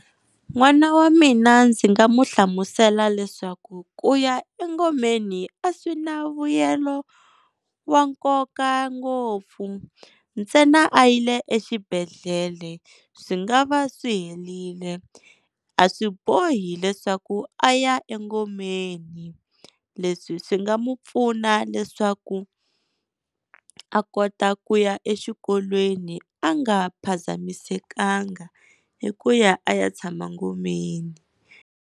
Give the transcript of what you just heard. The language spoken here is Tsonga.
N'wana wa mina ndzi nga n'wi hlamusela leswaku ku ya engomeni a swi na vuyelo wa nkoka ngopfu, ntsena a yile exibedhlele swi nga va swi helerile. A swi bohi leswaku a ya engomeni, leswi swi nga n'wi pfuna leswaku a kota ku ya exikolweni a nga phazamisekanga hi ku ya a ya tshama ngomeni.